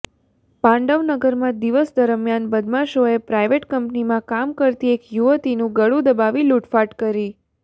પાંડવ નગરમાં દિવસ દરમિયાન બદમાશોએ પ્રાઇવેટ કંપનીમાં કામ કરતી એક યુવતીનું ગળું દબાવી લૂટફાટ કરી